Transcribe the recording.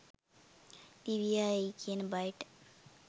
දිවියා එයි කියන බයට